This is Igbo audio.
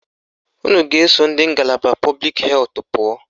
Unu ga-eso ndị ngalaba pọblik hetụ pụọ